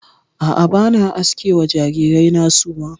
A'a, ba na aske wa jarirai na suma.